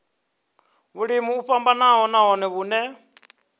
vhulimi o vhofhanaho nahone vhune